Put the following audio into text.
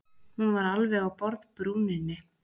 Hún var alveg á borðbrúninni.